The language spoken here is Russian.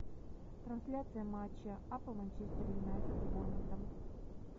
трансляция матча апл манчестер юнайтед с борнмутом